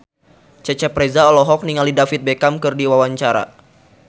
Cecep Reza olohok ningali David Beckham keur diwawancara